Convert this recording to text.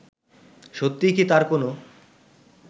সত্যিই কি তার কোন